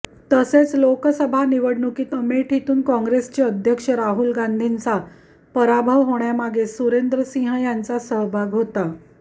तसेच लोकसभा निवडणुकीत अमेठीतून काँग्रेसचे अध्यक्ष राहुल गांधींचा पराभव होण्यामागे सुरेंद्र सिहं यांचा सहभाग होता